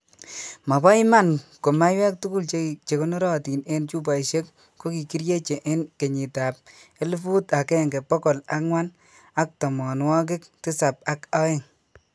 Mo bo iman ko maiywek tugul chekonorotin en chupoishek ko kikirieche en kenyitab elfut agenge bokol angwan ak tomonwokik tisap ak oeng